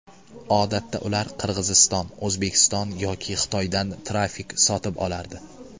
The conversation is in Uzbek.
Odatda ular Qirg‘iziston, O‘zbekiston yoki Xitoydan trafik sotib olardi.